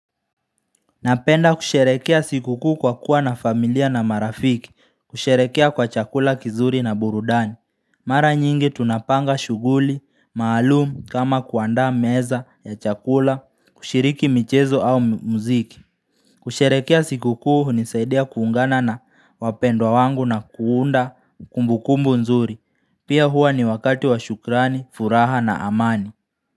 Napenda kusherekea sikukuu kwa kuwa na familia na marafiki kusherekea kwa chakula kizuri na burudani Mara nyingi tunapanga shughuli, maalum kama kuandaa meza ya chakula, kushiriki michezo au mziki kusherekea sikukuu hunisaidia kuungana na wapendwa wangu na kuunda kumbu kumbu nzuri, pia huwa ni wakati wa shukrani, furaha na amani.